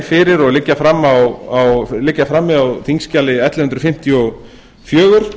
fyrir og liggja frammi á þingskjali ellefu hundruð fimmtíu og fjögur